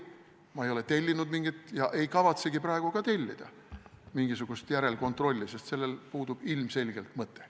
Ma ei ole tellinud ega kavatsegi praegu tellida mingisugust järelkontrolli, sest sellel puudub ilmselgelt mõte.